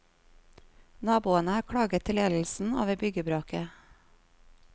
Naboene har klaget til ledelsen over byggebråket.